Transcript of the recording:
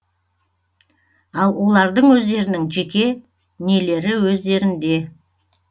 ал олардың өздерінің жеке нелері өздерінде